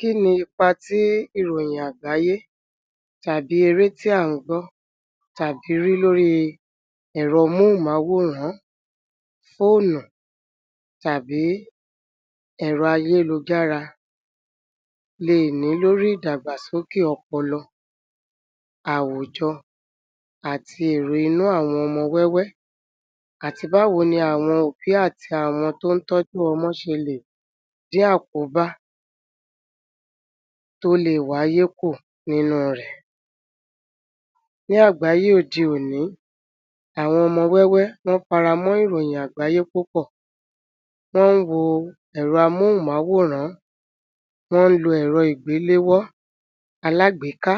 Kí ni ipa tí ìròyìn àgbáyé tàbí eré tí à ń gbọ́ tàbí rí lóri ẹ̀rọ móhùnmáwòrán fóònù tàbí ẹ̀rọ ayélujára lè ní lórí ìdàgbàsókè ọpọlọ, àwùjọ, àti èrò inú àwọn ọmọ wẹ́wẹ́ àti báwo ni àwọn òbí àti àwọn tó ń tọ́jú ọmọ ṣe lè dín àkóbá tó le wáyé kù nínú rẹ̀. Ní àgbáyé òde-òní, àwọn ọmọ wẹ́wẹ́, wọ́n faramọ́ ìròyìn àgbáyé púpọ̀, wọ́n ń wo ẹ̀rọ amóhùnmáwòrán, wọ́n ń lo ẹ̀rọ ìgbéléwọ́ alágbèéká,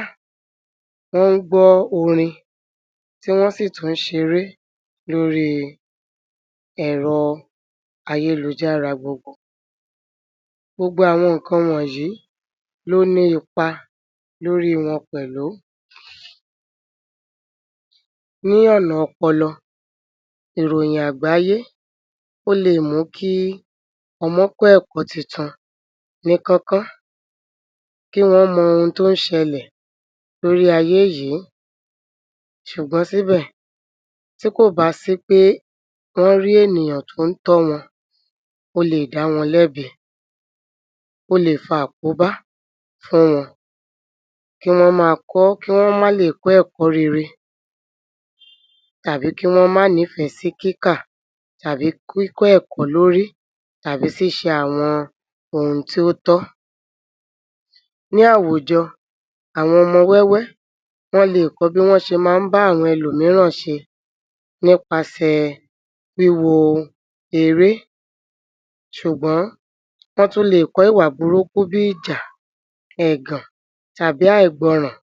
wọ́n ń gbọ́ orin, tí wọ́n sì tún ṣeré lórí ẹ̀rọ ayélujára gbogbo. Gbogbo àwọn nǹkan wọnyìí ló ní ipa lórí wọn pẹ̀lú ní ọ̀nà ọpọlọ, ìròyìn àgbáyé ó le mú kí ọmọ kọ́ ẹ̀kọ́ tuntun ní kánkán, kí wọ́n mọ ohun tó ń ṣẹlẹ̀ lórí ayé yìí ṣùgbọ́n síbẹ̀ tí kò bá sí pé wọ́n rí ènìyàn tó ń tọ́ wọn ó le dáwọn lẹ́bi, ó le fa àkóbá fún wọn kí wọ́n ma kọ́, kí wọ́n má lè kọ́ ẹ̀kọ́ rere tàbí kí wọ́n má nífẹ̀ẹ́ sí kíkà tàbí kíkọ́ ẹ̀kọ́ lórí tàbí ṣíṣe àwọn ohun tó tọ́. Ní àwùjọ, àwọn ọmọ wẹ́wẹ́ wọ́n le kọ bí wọ́n ṣé ń ba àwọn ẹlòmíràn ṣe nípasẹ̀ wíwo eré ṣùgbọ́n wọ́n tún leè kọ́ ìwà burúkú bí ìjà, ẹ̀gàn, tàbí àìgbọràn